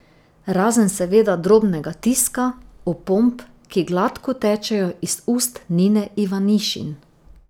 Razen seveda drobnega tiska, opomb, ki gladko tečejo iz ust Nine Ivanišin.